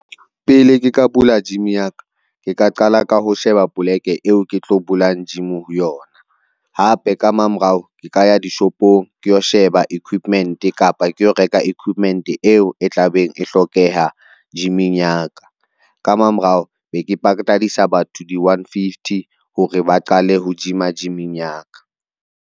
Pele ke ka bula jimi ya ka, ke ka qala ka ho sheba poleke eo ke tlo bulang jimi ho yona. Hape ka mamorao, ke ka ya dishopong ke yo sheba equipment kapa ke yo reka equipment eo e tla beng e hlokeha jimeng ya ka, ka mamorao be ke patadisa batho di-onefifty hore ba qale ho jima, jimeng ya ka.